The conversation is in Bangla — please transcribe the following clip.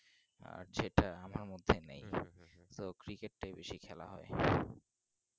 নেই তো cricket টাই বেশি খেলা হয়